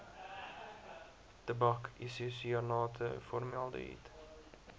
tabak isosianate formaldehied